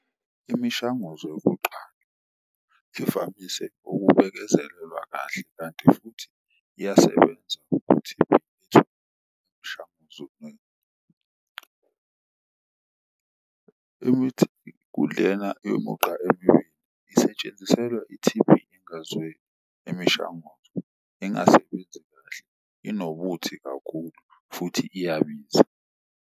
Imishanguzo yokuqala ukubekezelelwa kahle, kanti futhi iyasebenza ukuthi . Imithi kulena yomugqa isetshenziselwa i-T_B engazweli imishanguzo engasebenzi kahle, inobuthi kakhulu futhi iyabiza.